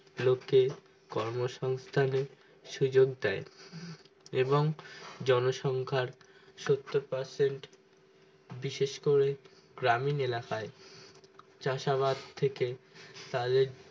লোকে কর্মসংহস্তানে সুযোগ দেয় এবং জন সংখ্যার সত্তর percent বিশেষ করে গ্রামীণ এলাকায় চাষাবাদ থেকে তাদের